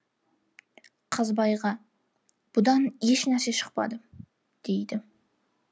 қазбайға бұдан еш нәрсе шықпады дейді